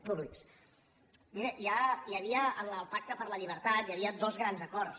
miri en el pacte per la llibertat hi havia dos grans acords